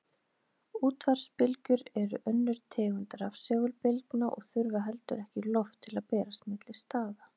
Útvarpsbylgjur eru önnur tegund rafsegulbylgna og þurfa heldur ekki loft til að berast milli staða.